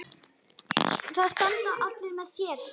Það standa allir með þér.